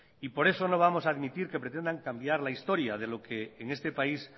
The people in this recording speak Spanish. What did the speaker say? por eso no vamos a admitir que pretendan cambiar la historia de lo que en este país